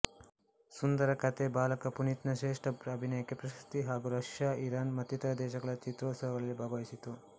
ಸುಂದರ ಕಥೆ ಬಾಲಕ ಪುನೀತ್ನ ಶ್ರೇಷ್ಠ ಅಭಿನಯಕ್ಕೆ ಪ್ರಶಸ್ತಿ ಹಾಗೂ ರಷ್ಯಾ ಇರಾನ್ ಮತ್ತಿತರ ದೇಶಗಳ ಚಿತ್ರೋತ್ಸವಗಳಲ್ಲಿ ಭಾಗವಹಿಸಿತು